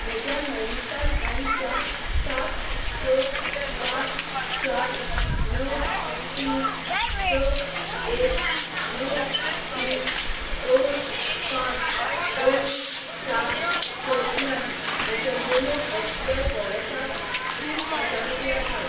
म्हज्या नैनीताल बँक च्या सात स पांच चार णव तीन स एक णव तीन दोन पांच दोन सात सतल्यांन म्हज्या योनो एस.बी.आय वॉलेटांत तीस हजार रुपया धाड